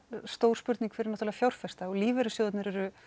spurning fyrir fjárfesta og lífeyrisjóðir eru